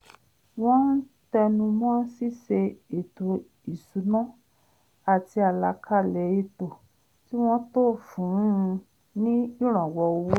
wọ́n tẹnu mọ́ ṣíṣe ètò ìṣúná àti àlàkalẹ̀ ètò kí wọ́n tó fún un ní ìrànwọ́ owó